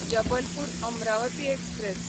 Jabalpur Amravati express